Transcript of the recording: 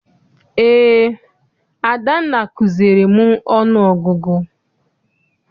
Eé, Adanna kuziere m ọnụ ọgụgụ.